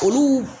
Olu